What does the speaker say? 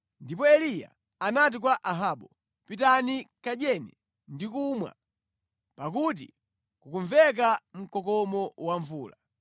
Ndipo Eliya anati kwa Ahabu, “Pitani, kadyeni ndi kumwa, pakuti kukumveka mkokomo wa mvula.”